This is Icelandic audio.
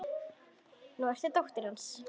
Nú ertu dóttir hans.